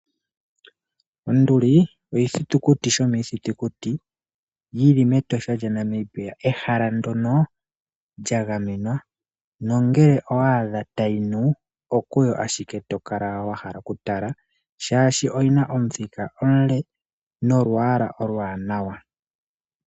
Onduli oshithitukuti shomiithitukuti yili metosha lyaNamibia ehala ndyoka lyagamenwa. Ngele owaadha tayi nu okuyo ashike wahala watala oshoka oyina omuthika omule nolwaala oluwanawa.